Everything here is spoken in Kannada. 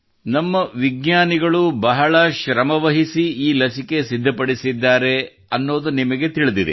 ನಮ್ಮ ವಿಜ್ಞಾನಿಗಳು ಬಹಳ ಶ್ರಮವಹಿಸಿ ೀ ಲಸಿಕೆ ಸಿದ್ಧಪಡಿಸಿದ್ದಾರೆ ಎಂಬುದು ನಿಮಗೆ ತಿಳಿದಿದೆ